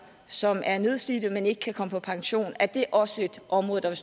som er nedslidte men som ikke kan komme på pension er det også et område der